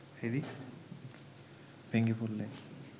ভেঙে পড়লে